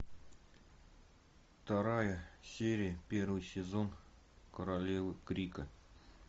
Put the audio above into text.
вторая серия первый сезон королевы крика